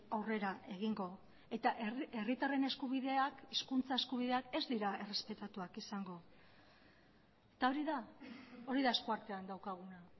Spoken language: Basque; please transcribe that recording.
aurrera egingo eta herritarren eskubideak hizkuntza eskubideak ez dira errespetatuak izango eta hori da hori da esku artean daukaguna